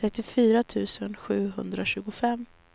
trettiofyra tusen sjuhundratjugofem